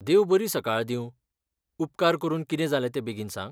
देव बरी सकाळ दींव, उपकार करून कितें जालें ते बेगीन सांग.